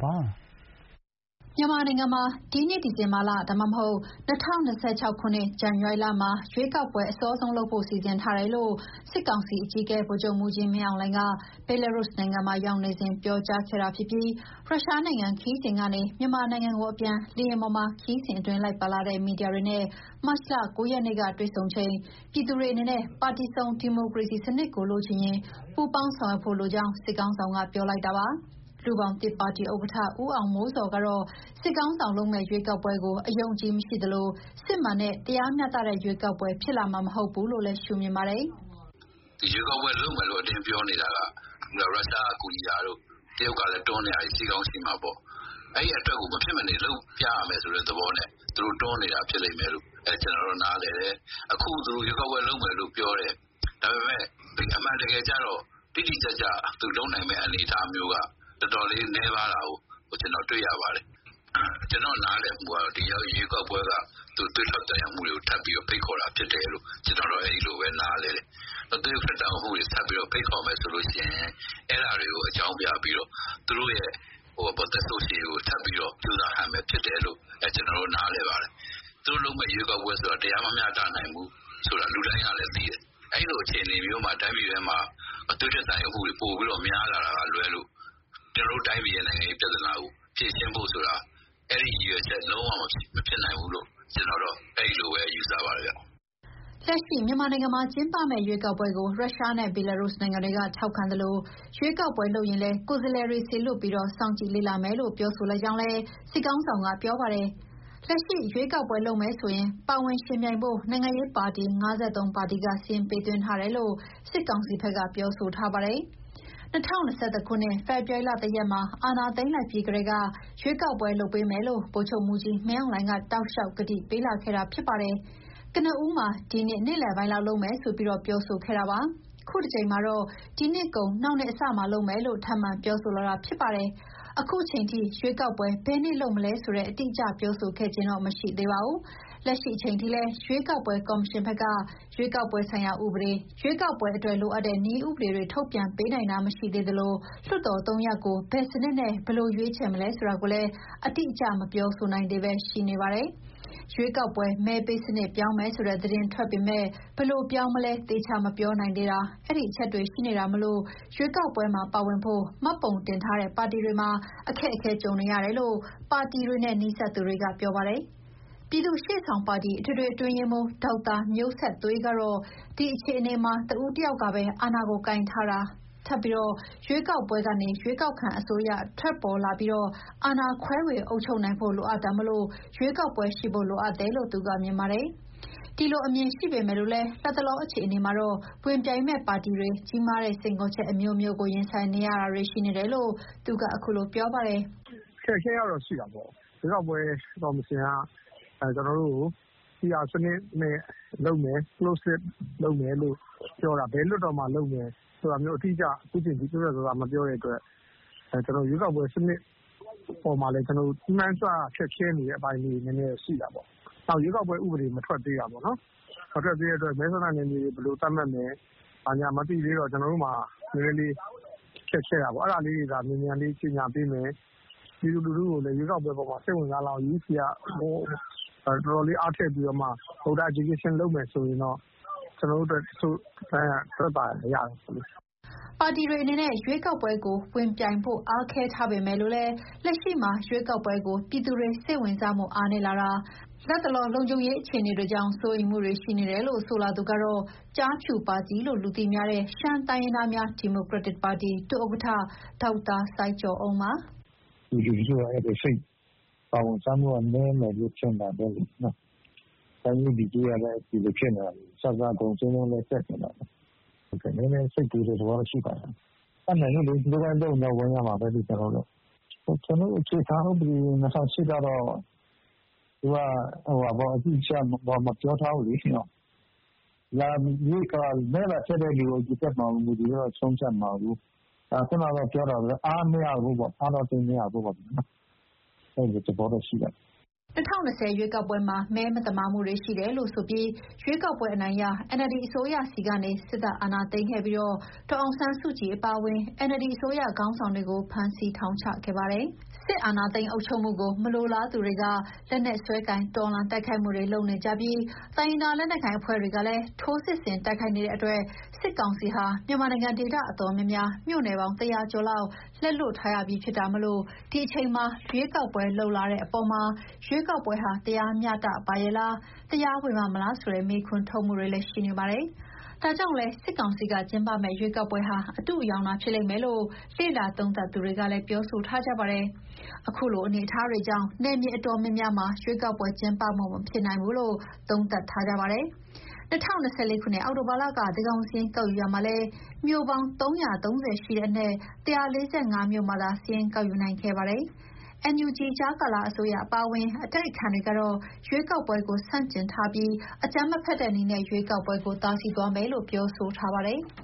ပါတယ်။ မြန်မာနိုင်ငံမှာ ရွေးကောက်ပွဲတွေကို အခုနှစ် ဒီဇင်ဘာလ ဒါမှမဟုတ် ၂၀၂၆ ခုနှစ် ဇန်ဝါရီလမှာ အစောဆုံးလုပ်ဖို့ စီစဉ်ထားတယ်လို့ စစ်ကောင်စီအကြီးအကဲ ဗိုလ်ချုပ်မှူးကြီးမင်းအောင်လှိုင်က Belarus နိုင်ငံမှာ ရောက်နေစဉ် ပြောကြားခဲ့တာဖြစ်သလို ရုရှားနိုင်ငံခရီးစဉ်ကနေ မြန်မာနိုင်ငံကိုပြန်လာတဲ့ လေယာဉ်ပေါ်မှာ ခရီးစဉ်အတွင်းလိုက်ပါလာတဲ့ မီဒီယာတွေနဲ့ မတ်လ ၉ ရက်နေ့ကတွေ့ဆုံချိန် ပြည်သူတွေအနေနဲ့ ပါတီစုံဒီမိုကရေစီစနစ်ကို လိုချင်ရင် ပူးပေါင်းဆောင်ရွက်ဖို့လိုကြောင်း စစ်ခေါင်းဆောင်က ပြောလိုက်တာပါ။ လူ့ဘောင်သစ်ဒီမိုကရက်တစ်ပါတီဥက္ကဋ္ဌ ဦးအောင်မိုးဇော်ကတော့ စစ်ခေါင်းဆောင်လုပ်မယ့် ရွေးကောက်ပွဲကို အယုံအကြည်မရှိသလို စစ်မှန်တဲ့ တရားမျှတတဲ့ ရွေးကောက်ပွဲ ဖြစ်လာမှာမဟုတ်ဘူးလို့ ရှုမြင်ပါတယ်။ "ရွေးကောက်ပွဲလုပ်မယ်လို့ အတင်းပြောနေတာက ရုရှားကူညီတာတို့ တရုတ်ကတွန်းနေတာတို့ ရှိကောင်းရှိမှာပေါ့။ အဲအတွက် မဖြစ်မနေလုပ်ရမယ်ဆိုပြီး သူတို့လုပ်နေတာ ဖြစ်လိမ့်မယ်လို့ ကျနော်နားလည်တယ်။ အခု ရွေးကောက်ပွဲလုပ်မယ်ပြောတယ်၊ အမှန်တကယ်ကျတော့ တိတိကျကျ သူလုပ်နိုင်မယ့်အနေအထားက တော်တော်လေးနည်းပါးတာကို တွေ့ရပါတယ်။ နောက် ကျနော့်နားလည်မှုက ဒီရွေးကောက်ပွဲတွေက သွေးထွက်သံယိုဖြစ်အောင် ဖိတ်ခေါ်တာဖြစ်တယ်လို့ နားလည်တယ်။ သွေးထွက်သံယိုမှုဖြစ်အောင် ဖိတ်ခေါ်မယ်ဆိုရင် အဲဒါကိုအကြောင်းပြပြီး သူတို့ရဲ့ သက်ဆိုးရှည်ရေးကို ထပ်ကြိုးစားတာပဲဖြစ်တယ်လို့ ကျနော်နားလည်ပါတယ်။ သူတို့လုပ်တဲ့ရွေးကောက်ပွဲက တရားမမျှတနိုင်ဖူးလို့ လူတိုင်းကလည်းသိတယ်။ အဲလိုအခြေအနေမှာ တိုင်းပြည်မှာ သွေးထွက်သံယိုတာ များလာတာကလွဲရင် ကျနော်တို့တိုင်းပြည်ရဲ့ နိုင်ငံရေးပြဿနာကို လုံးဝ ဖြေရှင်းတာ မဖြစ်နိုင်ဘူးလို့ ကျနော်ကတော့ နားလည်ထားပါတယ်။" လက်ရှိ မြန်မာနိုင်ငံမှာကျင်းပမဲ့ ရွေးကောက်ပွဲကို ရုရှားနဲ့ ဘီလာရုစ်နိုင်ငံတွေက ထောက်ခံသလို ရွေးကောက်ပွဲလုပ်ရင်လည်း ကိုယ်စားလှယ်တွေလွှတ်ပြီး စောင့်ကြည့်လေ့လာမယ်လို့ ပြောဆိုလိုက်ကြောင်းလည်း စစ်ခေါင်းဆောင်က ပြောပါတယ်။ လက်ရှိ ရွေးကောက်ပွဲလုပ်မယ်ဆိုရင် ပါဝင်ယှဉ်ပြိုင်ဖို့ နိုင်ငံရေး ပါတီ ၅၃ ပါတီ စာရင်းပေးသွင်းထားတယ်လို့ စစ်ကောင်စီဘက်က ပြောဆိုထား ပါတယ်။ ၂၀၂၁ ခုနှစ်ဖေဖော်ဝါရီ ၁ ရက်မှာ အာဏာသိမ်းလိုက်ပြီးထဲက ရွေးကောက်ပွဲ လုပ်ပေးမယ်လို့ ဗိုလ်ချုပ်မှူးကြီး မင်းအောင်လှိုင်က တောက်လျှောက် ကတိပေးလာခဲ့တာ ဖြစ်ပါတယ်။ ကနဦးမှာ ဒီနှစ် နှစ်လယ်ပိုင်းလောက်မှာ လုပ်မယ်ဆိုပြီး ပြောဆိုခဲ့တာဖြစ်ပါတယ်။ ခုတကြိမ်မှာတော့ ဒီနှစ်ကုန် နောက်နှစ်အစမှာ လုပ်မယ်လို့ ထပ်မံပြောဆိုလာတာ ဖြစ်ပါတယ်။ ခုချိန်ထိ ရွေးကောက်ပွဲ ဘယ်နေ့လုပ်မလဲဆိုတာ အတိအကျ ပြောဆိုခြင်းမရှိသေးပါဘူး။ လက်ရှိအချိန်ထိလည်း ရွေးကောက်ပွဲကော်မရှင်ဘက်က ရွေးကောက်ပွဲဆိုင်ရာဥပဒေ၊ ရွေးကောက်ပွဲအတွက်လိုအပ်တဲ့ နည်းဥပဒေတွေထုတ်ပြန်ပေးနိုင်တာ မရှိသေးသလို လွှတ်တော် ၃ရပ်ကို ဘယ်စနစ်နဲ့ ဘယ်လို ရွေးချယ်မလဲဆိုတာကိုလည်းအတိအကျ မပြောဆိုနိုင်သေးဘဲ ရှိနေသေးတာ၊ ရွေးကောက်ပွဲ မဲပေးစနစ် ပြောင်းမယ်ဆိုတဲ့သတင်း ထွက်ပေမယ့် ဘယ်လိုပြောင်းမလဲ သေချာမပြောနိုင်သေးတာ အဲဒီအချက်တွေ ရှိနေတာမို့ ရွေးကောက်ပွဲမှာပါဝင်ဖို့ မှတ်ပုံတင်ထားတဲ့ပါတီတွေမှာ အခက်အခဲတွေ ကြုံနေရတယ်လို့ ပါတီတွေနဲ့ နီးစပ်သူတွေက ပြောပါတယ်။ ပြည်သူ့ရှေ့ဆောင်ပါတီ အထွေထွေအတွင်းရေးမှူး ဒေါက်တာမျိုးဆက်သွေးကတော့ ဒီအခြေအနေမှ ာတဦးတယောက်ကပဲ အာဏာကို ကိုင်ထားတာထက် ရွေးကောက်ပွဲကနေ ရွေးကောက်ခံအစိုးရပေါ်ထွက်လာပြီး အာဏာ ခွဲဝေအုပ်ချုပ်နိုင်ဖို့ လိုအပ်တာမို့ ရွေးကောက်ပွဲရှိဖို့ လိုအပ်တယ်လို့ မြင်ပါတယ်။ ဒီလိုအမြင်ရှိပေမယ့် လတ်တလောအခြေအနေမှာတော့ ဝင်ပြိုင်မယ့်ပါတီတွေ ကြီးမားတဲ့စိန်ခေါ်ချက်အမျိုးမျိုးကို ရင်ဆိုင်နေရတာတွေ ရှိနေတယ်လို့ သူက ခုလိုပြောပြပါတယ်။ "အခက်အခဲကတော့ ရှိတာပေါ့။ ရွေးကောက်ပွဲကော်မရှင်က ပီအာစနစ်နဲ့ လုပ်မယ်ပြောတာ ဘယ်လွှတ်တော်မှာ လုပ်မလဲဆိုတာ ခုချိန်ထိ တိတိကျကျ ပြတ်ပြတ်သားသား မပြောတဲ့အတွက် ရွေးကောက်ပွဲစနစ်အပေါ်မှာ မှန်းဆရခက်ခဲနေတဲ့ အပိုင်းလေးတွေရှိပါတယ်။ နောက် ရွေးကောက်ပွဲ ဥပဒေမ ထွက်သေးတာ၊ မထွက်သေးတော့ မဲဆန္ဒနယ်မြေတွေ ဘယ်လိုသတ်မှတ်မလဲ။ အဲလိုမသိတော့ ကျနော်တို့မှ ာနည်းနည်းလေး ခက်ခဲတာပေါ့။ အဲဒါတွေ မြန်မြန်လေး ကြေညာပေးမယ်၊ပြည်သူလူထုကိုလည်း ရွေးကောက်ပွဲအပေါ် စိတ်ဝင်စားအောင် ကော်မရှင်က တော်တော်လေး အား ထည့်ပြီးတော့ မဲဆန္ဒရှင်တွေကို အသိပညာပေးမယ်ဆိုရင်တော့ ကျနော်တို့အတွက်သက်သာ ရာရမှာပေါ့။ ပါတီတွေအနေနဲ့ ရွေးကောက်ပွဲကိုဝင်ပြိုင်ဖို့ အားခဲထားပေမယ့် လက်ရှိမှာ ရွေးကောက်ပွဲကို ပြည်သူတွေစိတ်ဝင်စားမှု အားနည်းလာတာ၊ လတ်တလော လုံခြုံရေးအခြေအနေတွေကြောင့် စိုးရိမ်မှုတွေရှိနေတယ်လို့ ဆိုလာသူကတော့ ကျားဖြူပါတီလို့ လူသိများတဲ့ ရှမ်းတိုင်းရင်းသားများ ဒီမိုကရက်တစ်ပါတီက ဒုဥက္ကဋ္ဌ ဒေါက်တာစိုင်းကျော်အုံးပါ။ "ပြည်သူလူထုက အဲဒီ စိတ်ပါဝင်စားမှုနည်းနေတာ ဘယ်လိုဖြစ်မှာလဲလေနော့။ တိုင်းရေးပြည်ရေးကလည်း ဒီလိုဖြစ်နေတာ၊ အစစ ကုန်ဈေးနှုန်းကလည်း တက်နေတာ၊ နည်းနည်း စိတ်ပူတဲ့သဘော ရှိပါတယ်။ တတ်နိုင်ဘူးလေ သူတို့လုပ်ရင်တော့ကျနော်တို့ ဝင်ရမှာပဲလေ။ ကျနော်တို့ အခြေခံ ဥပဒေ ၂၀၀၈ ကတော့ သူက အတိအကျ မပြောထားဘူးလေနော့။ မဲလာပေးတဲ့ လူအရေအတွက်ကိုပဲ ဆုံးဖြတ်မှာကို၊ ဆိုတော့ ခုနပြောသလို အားမရဘူးပေါ့၊ အဲလိုသဘောတော့ရှိပါတယ်။" ၂၀၂၀ ရွေးကောက်ပွဲမှာ မဲမသမာမှုတွေ ရှိတယ်ဆိုပြီး ရွေးကောက်ပွဲအနိုင်ရ NLD အစိုးရဆီကနေ စစ်တပ်အာဏာသိမ်းခဲ့ပြီး ဒေါ်အောင်ဆန်းစုကြည်အပါအဝင် NLD အစိုးရခေါင်းဆောင်တွေကို ဖမ်းဆီးထောင်ချခဲ့ပါတယ်။ စစ်အာဏာသိမ်း အုပ်ချုပ်မှုကို မလိုလားသူတွေက လက်နက်စွဲကိုင် တော်လှန်တိုက်ခိုက်မှုတွေ လုပ်နေသလို တိုင်းရင်းသား လက်နက်ကိုင်အဖွဲ့တွေကလည်း ထိုးစစ်ဆင် တိုက်ခိုက်နေတဲ့အတွက် စစ်ကောင်စီဟာ မြန်မာနိုင်ငံ ဒေသတော်တော်များများ မြို့နယ်ပေါင်း ၁၀၀ ကျော်လက် လွှတ်ထားရတာဖြစ်တာမို့ ဒီအချိန်မှာ ရွေးကောက်ပွဲလုပ်ဖို့ ပြောလာတဲ့အပေါ်မှာ ရွေးကောက်ပွဲဟာ တရားမျှတရဲ့လား တရားဝင်ပါ့မလားလို့ မေးခွန်းထုတ်မှုတွေ ရှိနေတာဖြစ်ပါတယ်။ ဒါကြောင့်လည်း စစ်ကောင်စီကကျင်းပမယ့် ရွေးကောက်ပွဲဟာ အတုအယောင်သာ ဖြစ်လိမ့်မယ်လို့ လေ့လာသုံးသပ်သူတွေကလည်း ပြောဆိုထားကြပါတယ်။ အခုလို အနေအထားတွေကြောင့် နယ်မြေအတော်များများမှာ ရွေးကောက်ပွဲကျင်းပဖို့ မဖြစ်နိုင်ဘူးလို့ သုံးသပ်ထားကြပါတယ်။ ၂၀၂၄ ခုနှစ် အောက်တိုဘာလက သန်းခေါင်စာရင်း ကောက်ယူရာမှာလည်း မြို့ပေါင်း ၃၃၀ ရှိတဲ့အနက် ၁၄၅ မြို့မှာသာ စာရင်းကောက်ယူနိုင်ခဲ့ပါတယ်။ NUG ကြားကာလအစိုးရ အပါအဝင် အတိုက်အခံတွေကတော့ ရွေးကောက်ပွဲကို ဆန့်ကျင်ထားပြီး အကြမ်းမဖက်တဲ့နည်းနဲ့ ရွေးကောက်ပွဲကို တားဆီးသွားမယ်လို့ ပြောဆိုထားပါတယ်။